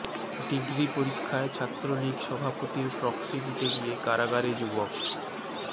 degree পরীক্ষায় ছাত্রলীগ সভাপতির প্রক্সি দিতে গিয়ে কারাগারে যুবক